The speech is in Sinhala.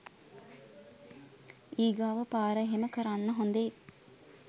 ඊගාව පාර එහෙම කරන්න හොඳේ